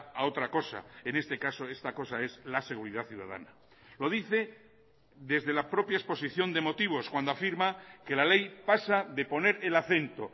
a otra cosa en este caso esta cosa es la seguridad ciudadana lo dice desde la propia exposición de motivos cuando afirma que la ley pasa de poner el acento